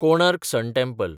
Konark sun temple